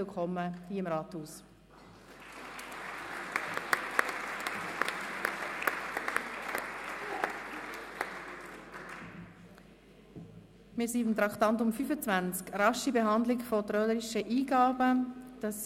Wir sind bei Traktandum 25 angelangt, dem Postulat «Rasche Behandlung von trölerischen Eingaben».